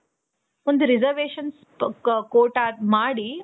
ಒಂದು reservations Kota ಮಾಡಿ